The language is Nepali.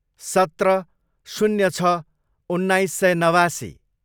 सत्र, शून्य छ, उन्नाइस सय नवासी